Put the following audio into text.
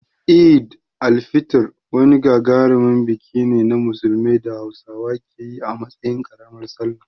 Eid al-Fitr wani gagarumin biki ne na Musulunci da Hausawa ke yi a matsayin ƙaramar Sallah.